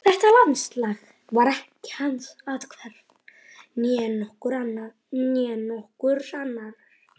Þetta landslag var ekki hans athvarf, né nokkurs annars.